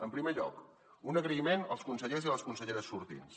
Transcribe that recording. en primer lloc un agraïment als consellers i les conselleres sortints